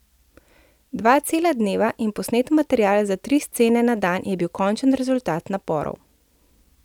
Dva cela dneva in posnet material za tri scene na dan je bil končen rezultat naporov.